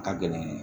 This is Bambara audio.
Ka gɛlɛn